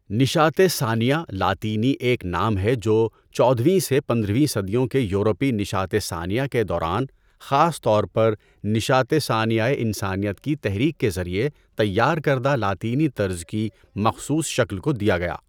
نشاَۃِ ثانیہ لاطینی ایک نام ہے جو چودہویں سے پندرہویں صدیوں کے یورپی نشاَۃ ثانیہ کے دوران خاص طور پر نشاَۃِ ثانیۂ انسانیت کی تحریک کے ذریعے تیار کردہ لاطینی طرز کی مخصوص شکل کو دیا گیا۔